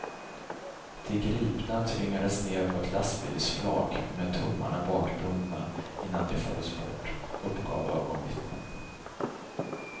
De gripna tvingades ned på ett lastbilsflak med tummarna bakbundna innan de fördes bort, uppgav ögonvittnen.